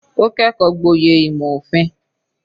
Ó kẹ́kọ̀ọ́ gboyè ìmò òfin.